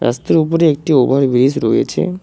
রাস্তার ওপরে একটি ওভারব্রীজ রয়েছে।